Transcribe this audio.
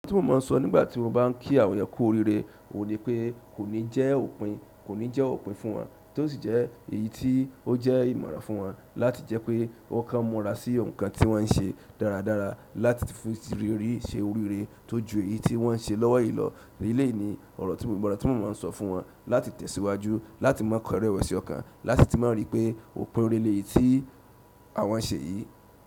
Ọ̀rọ̀ tí mo máa ń sọ nígbà tí mo bá ń kí àwọn ẹ kú oríire ò ní pé kò ní jẹ́ òpin, kò ní jẹ́ òpin fún wọn, tó sì jẹ́ èyí tí ó jẹ́ ìmọ̀ràn fún wọn láti jẹ́ pé kán múra sí nǹkan tí wọ́n ń ṣe dáradára láti fi ìrírí ṣe oríire tó ju èyí tí wọ́n ń ṣe lọ́wọ́ yìí lọ. Eleyi ní ọ̀rọ̀ tí mo, ìmọ̀ràn tí mo máa ń sọ fún wọn láti tẹ̀síwájú, láti má kọrẹ́wẹ̀sì ọkàn, láti tí má rí pé òpin ọ̀rẹ́ leyí tí àwọn ṣe yìí.